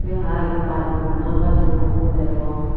se haai ibey baj dubo na gaj dubo ekku degong.